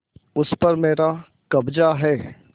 उस पर मेरा कब्जा है